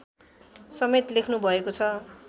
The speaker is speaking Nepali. समेत लेख्नुभएको छ